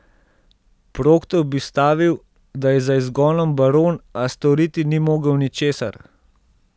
Proktor bi stavil, da je za izgonom baron, a storiti ni mogel ničesar.